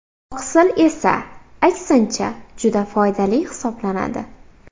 Oqsil esa, aksincha juda foydali hisoblanadi.